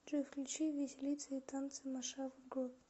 джой включи виселица и танцы маваши груп